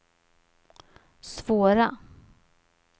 svåra